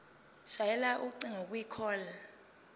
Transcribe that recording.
shayela ucingo kwicall